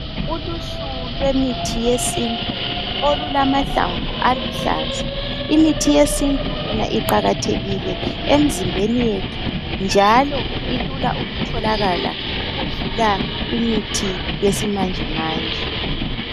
Uluhlu lwemithi yesintu olulamahlamvu aluhlaza imithi yesintu yona iqakathekile emzimbeni yethu njalo ilula ukutholakala ukudla imithi yesimanje manje.